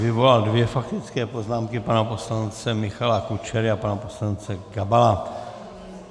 Vyvolal dvě faktické poznámky - pana poslance Michala Kučery a pana poslance Gabala.